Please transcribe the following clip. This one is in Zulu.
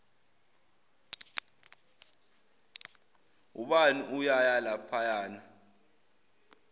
ubani uyaya laphayana